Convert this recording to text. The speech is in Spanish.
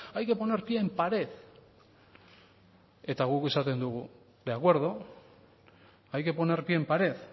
hay que poner pie en pared eta guk esaten dugu de acuerdo hay que poner pie en pared